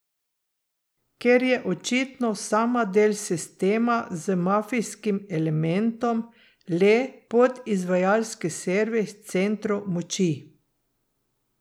Ker je očitno sama del sistema z mafijskim elementom, le podizvajalski servis centrov moči.